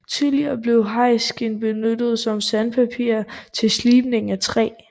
Tidligere blev hajskind benyttet som sandpapir til slibning af træ